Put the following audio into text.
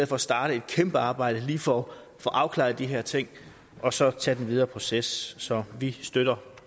for at starte et kæmpe arbejde lige får afklaret de her ting og så tager den videre proces så vi støtter